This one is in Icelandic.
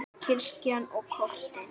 Kirkjan og kortin.